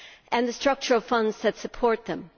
and the structural funds that support them?